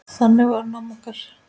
Þannig var hún amma okkur.